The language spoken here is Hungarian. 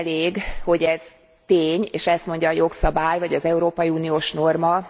Nem elég, hogy ez tény, és ezt mondja a jogszabály vagy az európai uniós norma.